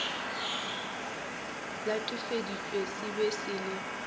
latofaditšwe se be se le